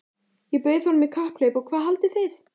Ég bauð honum í kapphlaup og hvað haldið þið?